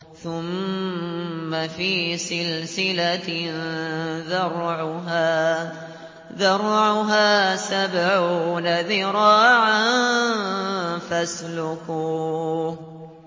ثُمَّ فِي سِلْسِلَةٍ ذَرْعُهَا سَبْعُونَ ذِرَاعًا فَاسْلُكُوهُ